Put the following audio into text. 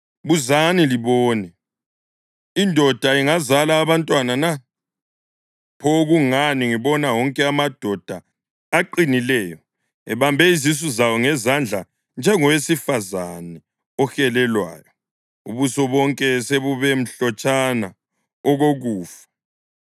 Buzani libone: Indoda ingazala abantwana na? Pho kungani ngibona wonke amadoda aqinileyo ebambe izisu zawo ngezandla njengowesifazane ohelelwayo, ubuso bonke sebube mhlotshana okokufa?